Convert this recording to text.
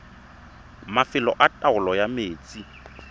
mafelo a taolo ya metsi